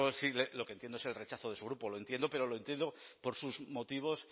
sí lo que entiendo es el rechazo de su grupo lo entiendo pero lo entiendo por sus motivos